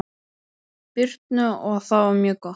Birnu og það var mjög gott.